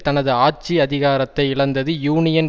தனது ஆட்சி அதிகாரத்தை இழந்தது யூனியன்